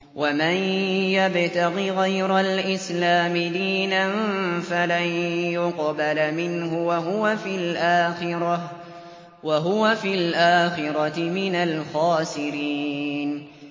وَمَن يَبْتَغِ غَيْرَ الْإِسْلَامِ دِينًا فَلَن يُقْبَلَ مِنْهُ وَهُوَ فِي الْآخِرَةِ مِنَ الْخَاسِرِينَ